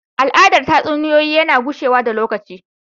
Al’adar tatsuniyoyi tana gushewa da lokaci.